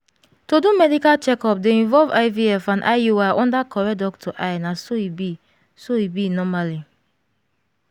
to do medical checkup dey involve ivf and iui under correct doctor eye na so e be so e be normally